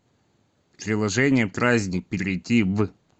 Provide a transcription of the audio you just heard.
приложение праздник перейди в